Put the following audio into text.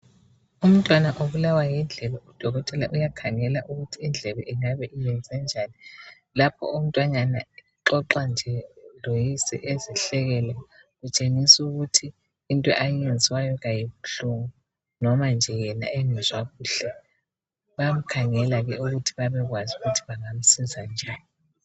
Umntwana ubulawa yindlebe , udokothela uyakhangela ukuthi indlebe ingabe iyenzenjani .Lapho umntwanyana uxoxa nje loyise ezihlekela ,kutshengisa ukuthi into ayenziwayo ayibuhlungu. Noma nje yena engezwa kuhle ,bayamkhangela ukuthi babekwazi ukuthi bangamsiza njani.